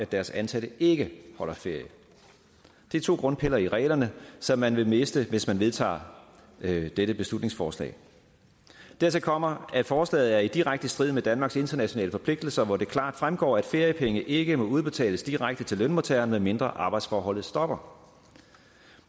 deres ansatte ikke holder ferie det er to grundpiller i reglerne som man vil miste hvis man vedtager dette dette beslutningsforslag dertil kommer at forslaget er i direkte strid med danmarks internationale forpligtelser hvoraf det klart fremgår at feriepenge ikke må udbetales direkte til lønmodtageren medmindre arbejdsforholdet stopper